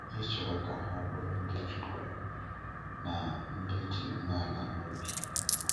Ị chọrọ ka ha bụrụ ndị Chúkwú na ndị dị umeala n’obi.